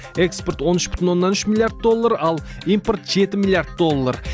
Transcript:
экспорт он үш бүтін оннан үш миллиард доллар ал импорт жеті миллиард доллар